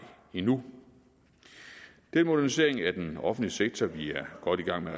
endnu den modernisering af den offentlige sektor vi er godt i gang med